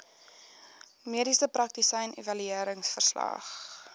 mediese praktisyn evalueringsverslag